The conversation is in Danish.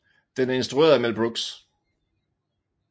Den er instrueret af Mel Brooks